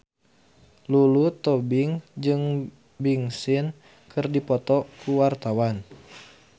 Lulu Tobing jeung Big Sean keur dipoto ku wartawan